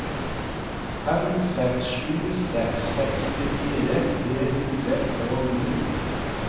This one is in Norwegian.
fem seks sju seks sekstifire tre hundre og ni